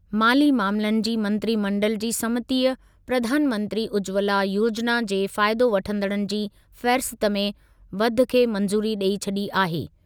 माली मामलनि जी मंत्रिमंडल जी समितीअ प्रधानमंत्री उज्ज्वला योजिना जे फ़ाइदो वठंदड़नि जी फ़हरिस्त में वाधि खे मंज़ूरी ॾेई छॾी आहे।